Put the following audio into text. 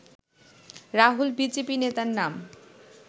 Rahul BJP নেতার নাম